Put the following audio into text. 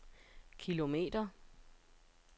kilometer